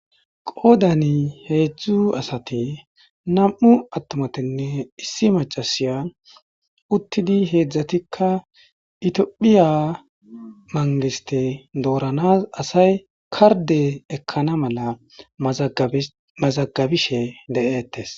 Goodani heedzdzu asati nam7u attumatinne issi macasiya uttidi heedzdzatikka itiophiya mangiste dooranas asay karde ekkana mala mazagabishe de7eettes.